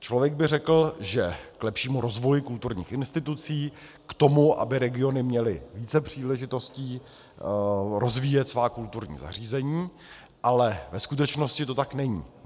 Člověk by řekl, že k lepšímu rozvoji kulturních institucí, k tomu, aby regiony měly více příležitostí rozvíjet svá kulturní zařízení, ale ve skutečnosti to tak není.